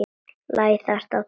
Læðast á tánum.